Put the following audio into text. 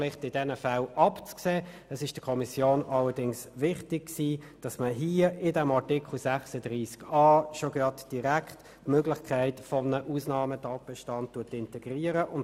Allerdings war es der Kommission wichtig, dass unter Artikel 36a bereits die Möglichkeit eines Ausnahmetatbestands integriert erwähnt wird.